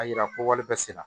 A yira ko wale bɛɛ sera